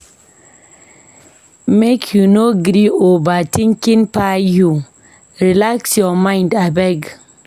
Make you no gree make overtinking kpai you, relax your mind abeg.